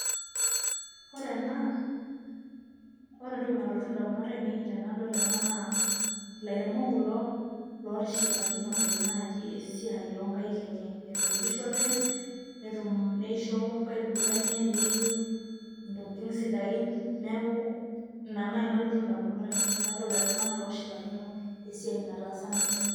Ore ena ore entoki nalotu ndamunot ainei tenadol ena naa ilairemok kulo lootishipakinote naaji esiai oo nkaek enye, etuunishote netum neisho nkaitubulu enye niyiu intokitin sidain. Neeku ina nai nalotu ndamunot ainei.